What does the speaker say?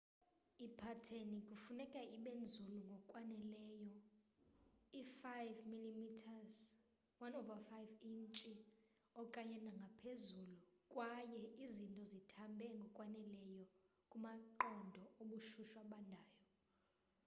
ipateni kufuneka ibe nzulu ngokwaneleyo i-5 mm 1/5 intshi okanye nangaphezulu kwaye izinto zithambe ngokwaneleyo kumaqondo obushushu abandayo